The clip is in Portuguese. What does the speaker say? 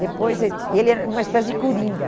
Depois, ele ele era uma espécie de coringa.